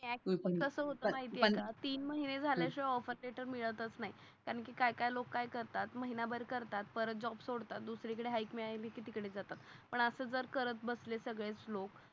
तीन महिने झाल्या शिवाय ऑफर लेटर मिळताच नाय कारण कि काय काय लोक काय करतात महिना भर करतात परत जॉब सोडतात दुसरी कडे हाईक मिळाली कि तिकडे जातात. पण अस जर करत बसले सगळे लोक